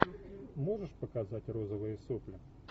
можешь показать розовые сопли